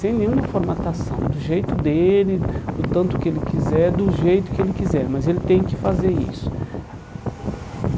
Sem nenhuma formatação, do jeito dele, do tanto que ele quiser, do jeito que ele quiser, mas ele tem que fazer isso.